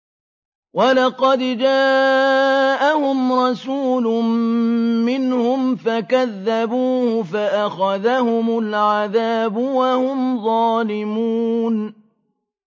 وَلَقَدْ جَاءَهُمْ رَسُولٌ مِّنْهُمْ فَكَذَّبُوهُ فَأَخَذَهُمُ الْعَذَابُ وَهُمْ ظَالِمُونَ